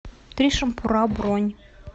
три шампура бронь